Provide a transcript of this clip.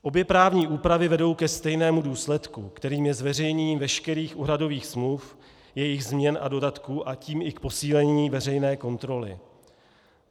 Obě právní úpravy vedou ke stejnému důsledku, kterým je zveřejnění veškerých úhradových smluv, jejich změn a dodatků, a tím i k posílení veřejné kontroly.